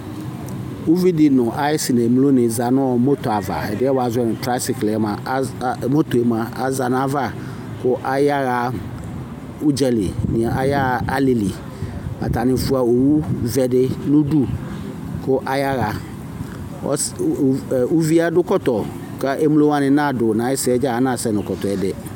Uvidi nʋ ayisi n'emlo wani zanʋ mɔto ayava, ɛdiɛ wazɔnʋ trayisikl yɛ mua az, az moto'emua azã nayava kʋ ayaha udzali nii ayaha alili Atani fua owuzɛdi nu udu kʋ ayaha Ɔs u uviadʋkɔtɔ ka emlowani nadʋ naxɛsɛ dza anasɛ nʋ kɔtɔɛ dɛ?